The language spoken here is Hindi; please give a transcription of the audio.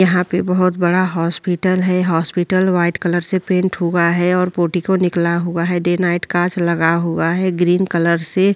यहाँ पे बोहोत बड़ा हॉस्पिटल है। हॉस्पिटल व्हाइट कलर से पेंट हुआ है और पोटी को निकला हुआ है। डे नाईट कांच लगा हुआ है ग्रीन कलर से।